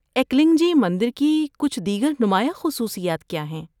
‏ایکلنگ جی مندر کی کچھ دیگر نمایاں خصوصیات کیا ہیں؟‏